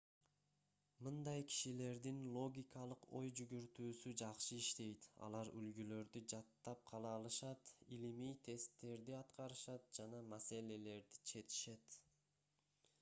мындай кишилердин логикалык ой жүгүртүүсү жакшы иштейт алар үлгүлөрдү жаттап кала алышат илимий тесттерди аткарышат жана маселелерди чечишет